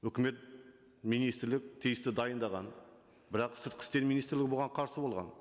үкімет министрлік тиісті дайындаған бірақ сыртқы істер министрлігі бұған қарсы болған